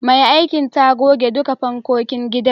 Mai aikin ta goge duka fankokin saman.